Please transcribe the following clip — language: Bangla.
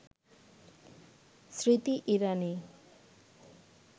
স্মৃতি ইরানি